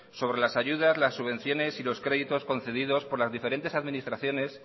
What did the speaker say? sobre las ayudas las subvenciones y los créditos concedidos por las diferentes administraciones